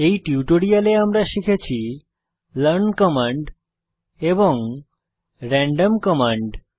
এই টিউটোরিয়ালে আমরা শিখেছি লার্ন কমান্ড এবং র্যান্ডম কমান্ড